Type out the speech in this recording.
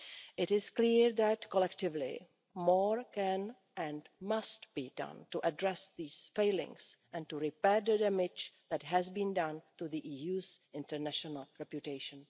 It is clear that collectively more can and must be done to address these failings and repair the damage that has been done to the EU's international reputation.